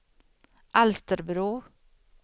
Alsterbro